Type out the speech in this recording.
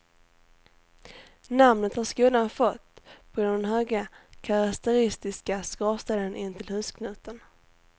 Namnet har skolan fått på grund av den höga karaktäristiska skorstenen intill husknuten.